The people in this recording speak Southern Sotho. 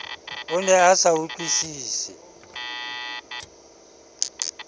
o ne a sa utlwisise